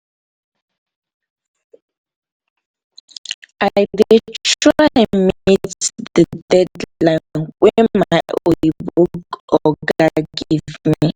i dey try meet di deadline wey my oyimbo oga give me